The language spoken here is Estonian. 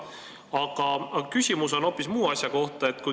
Aga küsimus on hoopis muu asja kohta.